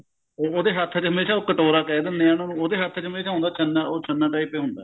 ਉਹਦੇ ਹੱਥ ਚ ਹਮੇਸ਼ਾ ਉਹ ਕਟੋਰਾ ਕਿਹ ਦਿੰਨੇ ਆ ਉਹਨੂੰ ਉਹਦੇ ਹੱਥ ਚ ਹਮੇਸ਼ਾ ਹੁੰਦਾ ਛੰਨਾ ਉਹ ਛੰਨਾ type ਹੀ ਹੁੰਦਾ